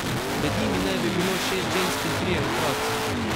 Med njimi naj bi bilo šest žensk in trije otroci.